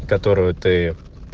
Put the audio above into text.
которого ты